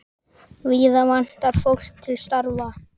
Víða vantar fólk til starfa.